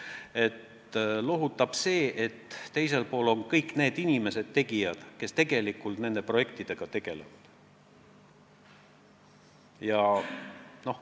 Mind lohutab see, et teisel pool on kõik need inimesed, kes tegelikult nende projektidega tegelevad.